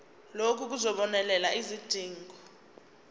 lokhu kuzobonelela izidingo